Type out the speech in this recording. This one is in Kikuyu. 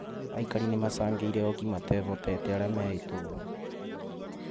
Aikari nĩ marcangĩire ooki matehotete aria me itũra